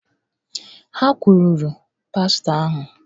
Ha kwuluru pastọ ahụ!